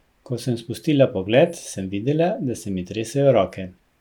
Ko sem spustila pogled, sem videla, da se mi tresejo roke.